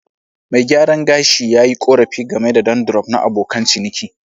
Mai gyaran gashi yi korafi game da dandruff na abokan ciniki.